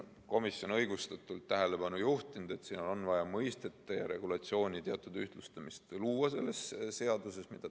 Komisjon on õigustatult tähelepanu juhtinud, et selles seaduses on vaja mõisteid ja regulatsioone teatud määral ühtlustada.